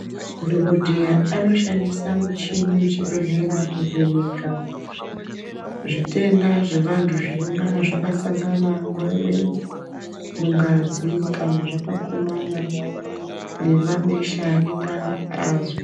Madhokodheya anoshandisa michini muchibhedhlera kuvheneka zvitenda zvevantu zvinonga zvakasangana nguva imweni mungazi kana zvakakumana nemabesha anenge azwa.